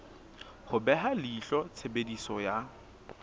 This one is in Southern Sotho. ho beha leihlo tshebediso ya